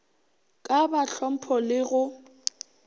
ka ba hlompho le go